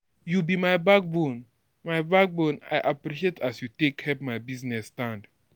You be my backbone, my backbone, I appreciate as you take help my business stand.